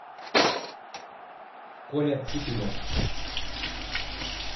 коля ципилев